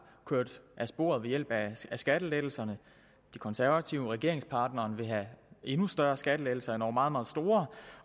kørt af sporet ved hjælp af skattelettelserne de konservative regeringspartneren vil have endnu større skattelettelser endog meget meget store